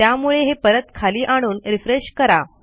त्यामुळे हे परत खाली आणून रिफ्रेश करा